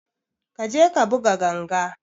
Ƙa je ka buga ganga!